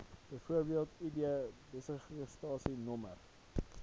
bv id besigheidsregistrasienommer